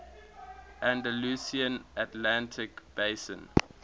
andalusian atlantic basin